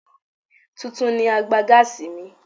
Tuntun ni àgbà gáàsì mi.